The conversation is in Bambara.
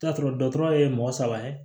T'a sɔrɔ dɔ tɔgɔ ye mɔgɔ saba ye